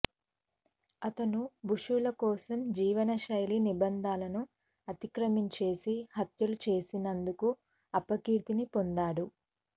అతను ఋషుల కోసం జీవనశైలి నిబంధనలను అతిక్రమించిసి హత్యలు చేసినందుకు అపకీర్తిని పొందాడు